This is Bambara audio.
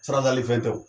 Sarakali fɛn tɛ o